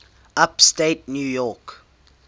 upstate new york